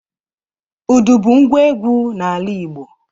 Udu bu ngwa egwu n'ala Igbo